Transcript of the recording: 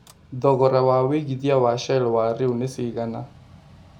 thogora wa wĩigĩthĩa wa shell wa rĩu nĩ cĩgana